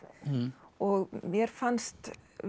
og mér fannst